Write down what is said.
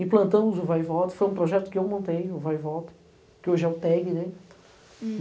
Implantamos o Vai e Volta, foi um projeto que eu montei, o Vai e Volta, que hoje é o Teg, né. Hm